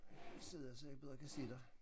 Sidder jeg så jeg bedre kan se dig